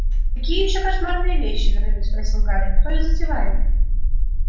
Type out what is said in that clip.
какие ещё кошмарные вещи напрямик спросил гарри кто их затевает